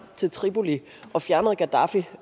til tripoli og fjernede gaddafi